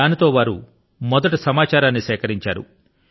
దాంతో వారు మొదట సమాచారాన్ని సేకరించారు